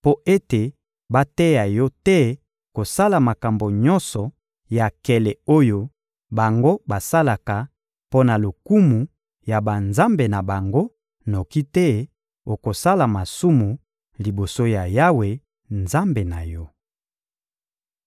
mpo ete bateya yo te kosala makambo nyonso ya nkele oyo bango basalaka mpo na lokumu ya banzambe na bango; noki te okosala masumu liboso ya Yawe, Nzambe na yo.